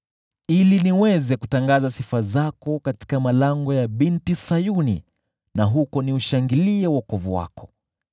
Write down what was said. ili niweze kutangaza sifa zako katika malango ya Binti Sayuni na huko niushangilie wokovu wako.